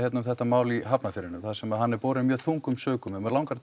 um þetta mál í Hafnarfirðinum þar sem hann er borinn mjög þungum sökum mig langar